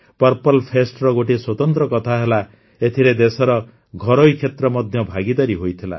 purple ଫେଷ୍ଟର ଗୋଟିଏ ସ୍ୱତନ୍ତ୍ର କଥା ହେଲା ଏଥିରେ ଦେଶର ଘରୋଇ କ୍ଷେତ୍ର ମଧ୍ୟ ଭାଗୀଦାର ହୋଇଥିଲା